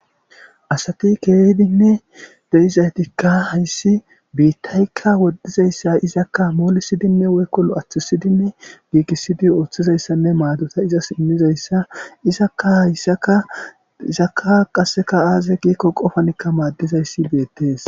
asati keehidinne deizaytikka hayssi biittaykka woddizayssa izakka moolisidinne woykkolo aththusidinne giigisidi ooththizayssanne maadota izas immizayssa izakka hayssaka isakka qasseka aaze giikko qofanikka maaddizayssi beettees